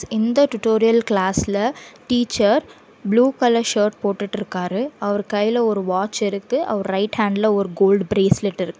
இந்த டுடோரியல் கிளாஸ்ல teacher blue colour shirt போட்டுட்டுருக்காரு அவர் கைல வாட்ச் இருக்கு அவரோட ரைட் ஹேண்ட்ல ஒரு கோல்ட் பிரேஸ்லெட் இருக்கு.